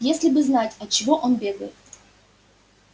если бы знать от чего он бегает